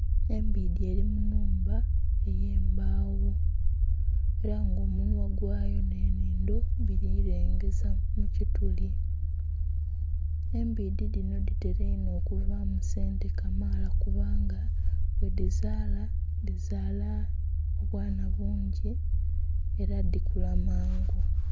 Embidhi eri mu nnhumba ey'embawo era nga omunhwa gwayo ne nnhindho biri kulengeza mu kituli, embidhi dhino dhitera inho okubaamu sente kamaala kubanga ghedhizaala dhizaala obwana bungi era dhikula mangu